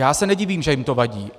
Já se nedivím, že jim to vadí.